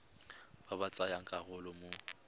ba ba tsayang karolo mo